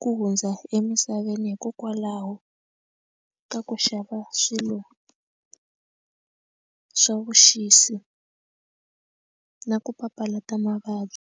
ku hundza emisaveni veni hikokwalaho ka ku xava swilo swa vuxisi na ku papalata mavabyi.